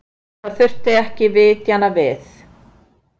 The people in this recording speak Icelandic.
Það þurfti ekki vitnanna við.